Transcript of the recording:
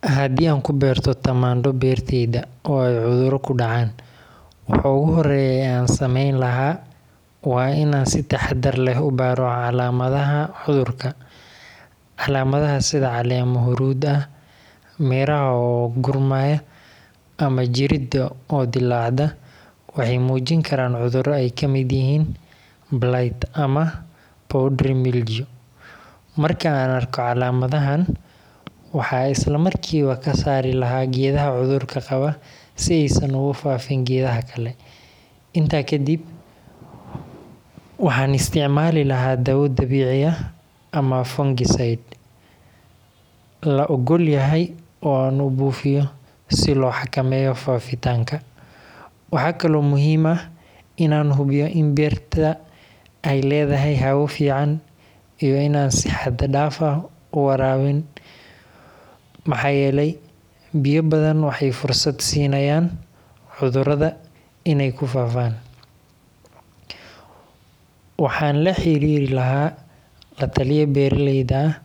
Haddii aan ku beerto tamaandho beertayda oo ay cudurro ku dhacaan, waxa ugu horreeya ee aan sameyn lahaa waa in aan si taxaddar leh u baaro calaamadaha cudurka. Calaamadaha sida caleemo huruud ah, miraha oo qudhmaya ama jirridda oo dillaacda waxay muujin karaan cudurro ay ka mid yihiin blight ama powdery mildew. Marka aan arko calaamadahan, waxaan isla markiiba ka saari lahaa geedaha cudurka qaba si aysan uga faafin geedaha kale. Intaa kadib, waxaan isticmaali lahaa dawo dabiici ah ama fungicide la oggol yahay oo aan u buufiyo si loo xakameeyo faafitaanka. Waxaa kaloo muhiim ah in aan hubiyo in beerta ay leedahay hawo fiican iyo in aanan si xad dhaaf ah u waraabin, maxaa yeelay biyo badan waxay fursad siinayaan cudurada inay ku faafo. Waxaan la xiriiri lahaa la-taliye beeraley ah